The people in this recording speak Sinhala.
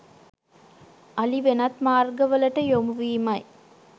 අලි වෙනත් මාර්ගවලට යොමු වීමයි.